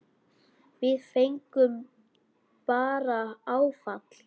Við fengum bara áfall.